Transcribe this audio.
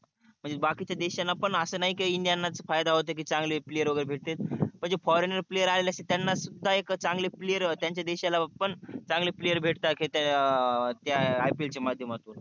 म्हणजे बाकीच्या देशाणा पण अस नाही का india लाच फायदा होते की चांगले player वगेरे भेटते म्हणजे foreign player आले की त्यांना सुद्धा एक चांगले player त्यांच्या देशाला पण चांगले player भेटतात खेडतात त्या IPL च्या मध्यमातून